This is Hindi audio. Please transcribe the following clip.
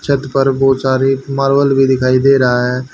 छत पर बहोत सारी मार्बल भी दिखाई दे रहा है।